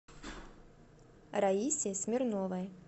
раисе смирновой